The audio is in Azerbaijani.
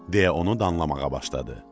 deyə onu danlamağa başladı.